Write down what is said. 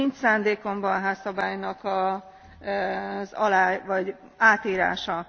Nincs szándékomban a Házszabálynak az alá vagy átírása.